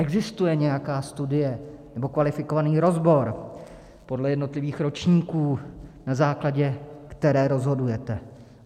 Existuje nějaká studie nebo kvalifikovaný rozbor podle jednotlivých ročníků, na základě které rozhodujete?